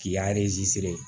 K'i y'a